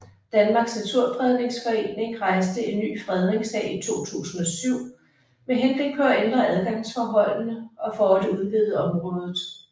Danmarks Naturfredningsforening rejste en ny fredningssag i 2007 med henblik på at ændre adgangsforholdene og for at udvide området